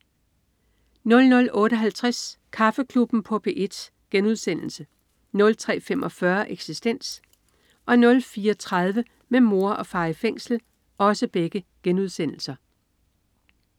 00.58 Kaffeklubben på P1* 03.45 Eksistens* 04.30 Med mor og far i fængsel*